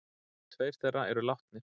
Tveir þeirra eru látnir.